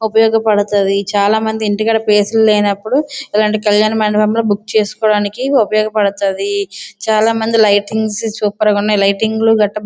ఉపయోగపడతాది. చాలా మంది ఇంటికాడ ప్లేసులు లేనిప్పుడు ఇలాటి కల్యాణమండపంలో బుక్ చేసుకోడానికి ఉపయోగపడతాది. చాలా మంది లైటింగ్స్ సూపర్ గా ఉన్నాయి లైటింగ్స్ గట్రా --